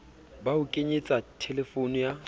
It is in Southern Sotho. ba ho kenyetse thelefono ya